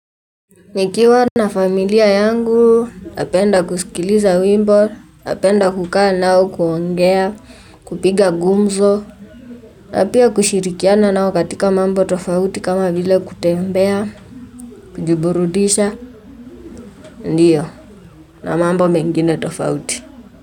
Nikiwa na familia yangu napenda kusikiliza wimbo napenda kukaa nao kuongea kupiga gumzo na pia kushirikiana nao katika mambo tofauti kama vile kutembea kujiburudisha ndiyo, na mambo mengine tofauti.